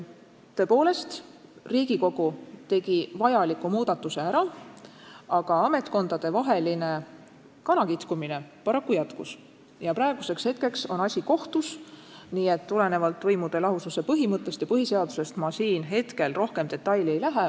Tõepoolest, Riigikogu tegi vajaliku muudatuse ära, aga ametkondadevaheline kanakitkumine paraku jätkus ja praeguseks on asi kohtus, nii et tulenevalt võimude lahususe põhimõttest ja põhiseadusest ma siin praegu rohkem detailidesse ei lasku.